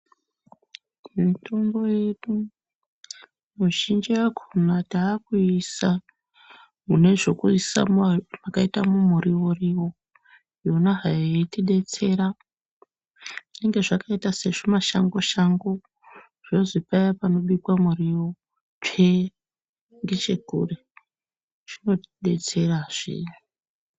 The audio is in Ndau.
Mitombo yedu mizhinji yakona takuiisa mune zvekuisa makaita mumurivo-rivo, ona hai yeitibetsera zvinenge zvakaita sezvimashango-shango zvozi paya panobikwa murivo tsvee, ngechekure zvinotibetserazve.